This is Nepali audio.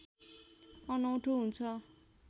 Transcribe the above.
अनौठो हुन्छ